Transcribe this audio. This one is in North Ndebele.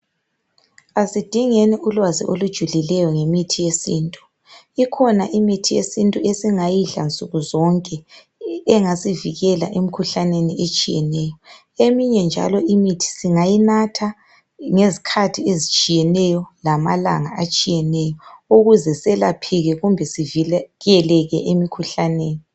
Asidingeni ulwazi olujulileyo ngemithi yesintu. Ikhona imithi yesintu esingayidla nsuku zonke engasivikela emkhuhlaneni etshiyeneyo. Eminye njalo imithi singayinatha ngezikhathi ezitshiyeneyo lamalanga atshiyeneyo ukuze selapheke kumbe sivikeleke emikhuhlaneni.